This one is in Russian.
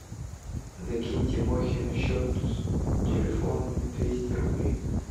закинь тимохе на счет телефона двести рублей